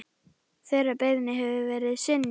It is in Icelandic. Þeirri beiðni hefur verið synjað.